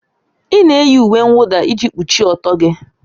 Ị na-eyi uwe mwụda iji kpuchie ọtọ gị